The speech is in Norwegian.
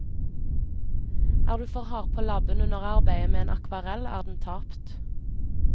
Er du for hard på labben under arbeidet med en akvarell er den tapt.